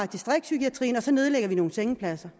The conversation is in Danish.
distriktspsykiatrien og så nedlægger vi nogle sengepladser